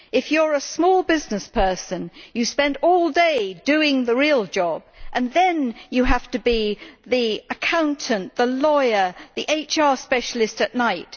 If you are a small business person, you spend all day doing the real job and then you have to be the accountant, the lawyer, and the HR specialist at night.